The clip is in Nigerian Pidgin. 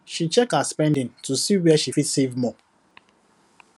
she check her spending to see where she fit save more